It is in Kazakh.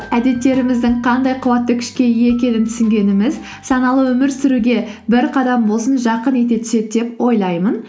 әдеттеріміздің қандай қуатты күшке ие екенін түсінгеніміз саналы өмір сүруге бір қадам болсын жақын ете түседі деп ойлаймын